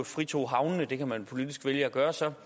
fritog havnene det kan man politisk vælge at gøre så